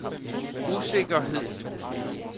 usikkerhed